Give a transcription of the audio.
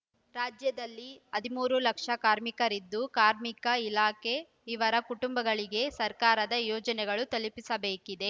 ರಾಜ್ಯದಲ್ಲಿ ಹದಿಮೂರು ಲಕ್ಷ ಕಾರ್ಮಿಕರಿದ್ದು ಕಾರ್ಮಿಕ ಇಲಾಖೆ ಇವರ ಕುಟುಂಬಗಳಿಗೆ ಸರ್ಕಾರದ ಯೋಜನೆಗಳನ್ನು ತಲುಪಿಸಬೇಕಿದೆ